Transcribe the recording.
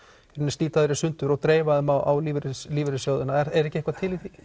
slíta þær í sundur og dreifa þeim á lífeyrissjóðina er ekki eitthvað til í því